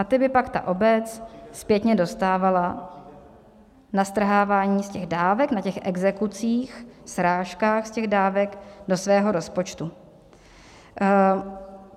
A ty by pak ta obec zpětně dostávala na strhávání z těch dávek, na těch exekucích, srážkách z těch dávek do svého rozpočtu.